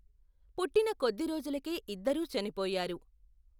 పుట్టిన కొద్ది రోజులకే ఇద్దరూ చనిపోయారు.